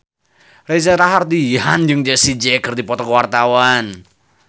Reza Rahardian jeung Jessie J keur dipoto ku wartawan